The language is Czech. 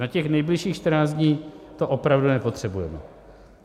Na těch nejbližších 14 dní to opravdu nepotřebujeme.